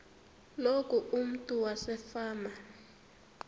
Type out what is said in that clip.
loku umntu wasefama